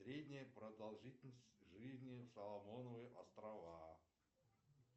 средняя продолжительность жизни соломоновы острова